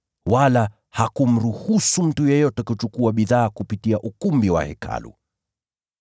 wala hakumruhusu mtu yeyote kuchukua bidhaa kupitia ukumbi wa Hekalu.